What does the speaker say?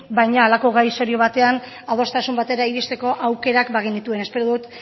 baina halako gai serio batean adostasun batera iristeko aukerak bagenituen espero dut